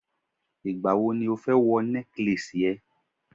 igbawo ni o fẹ́ wọ necklace e